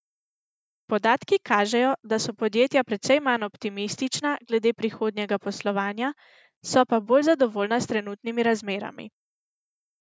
Podatki kažejo, da so podjetja precej manj optimistična glede prihodnjega poslovanja, so pa bolj zadovoljna s trenutnimi razmerami.